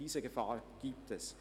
Diese Gefahr gibt es.